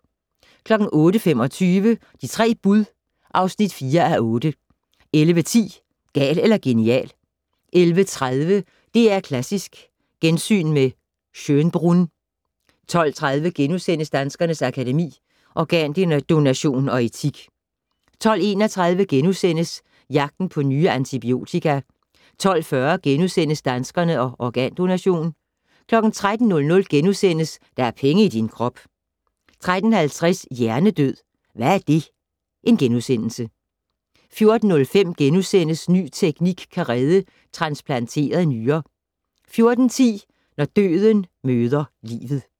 08:25: De tre bud (4:8) 11:10: Gal eller genial 11:30: DR Klassisk: Gensyn med Schönbrunn 12:30: Danskernes Akademi: Organdonation og etik * 12:31: Jagten på nye antibiotika * 12:40: Danskerne og organdonation * 13:00: Der er penge i din krop * 13:50: Hjernedød - hvad er det? * 14:05: Ny teknik kan redde transplanteret nyre * 14:10: Når døden møder livet